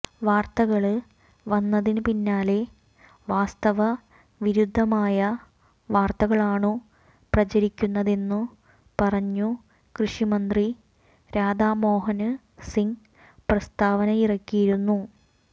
വാര്ത്തകള് വന്നതിന് പിന്നാലെ വാസ്തവ വിരുദ്ധമായ വാര്ത്തകളാണു പ്രചരിക്കുന്നതെന്നു പറഞ്ഞു കൃഷി മന്ത്രി രാധാ മോഹന് സിംഗ് പ്രസ്താവനയിറക്കിയിരുന്നു